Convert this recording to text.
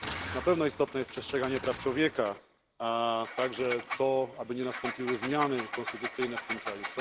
Na pewno istotne jest przestrzeganie praw człowieka, a także to, aby nie nastąpiły zmiany konstytucyjne w tym kraju.